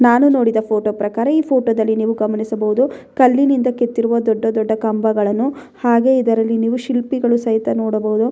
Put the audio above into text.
ನಾನು ನೋಡಿದ ಫೋಟೋ ಪ್ರಕಾರ ಈ ಫೋಟೋದಲ್ಲಿ ನೀವು ಗಮನಿಸಬಹುದು ಕಲ್ಲಿನಿಂದ ಕೆತ್ತಿರುವ ದೊಡ್ಡ ದೊಡ್ಡ ಕಂಬಗಳನ್ನು ಹಾಗೆ ಇದರಲ್ಲಿ ಶಿಲ್ಪಿಗಳು ಸಹಿತ ನೋಡಬಹುದು.